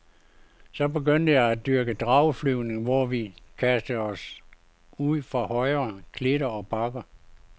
Så begyndte jeg at dyrke drageflyvning, hvor vi kastede os ud fra høje klitter og bakker.